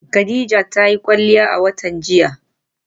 Khadijat ta yi kwalliya a watan jiya.